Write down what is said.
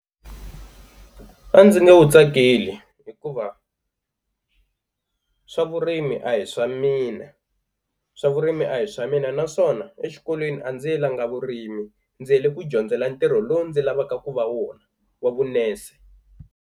A ndzi nge wu tsakeli hikuva swa vurimi a hi swa mina, swa vurimi a hi swa mina naswona exikolweni a ndzi yelanga vurimi ndzi yele ku dyondzela ntirho lowu ndzi lavaka ku va wona wa vunese.